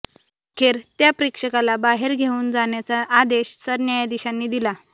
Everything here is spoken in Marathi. अखेर त्या प्रेक्षकाला बाहेर घेऊन जाण्याचा आदेश सरन्यायाधीशांनी दिला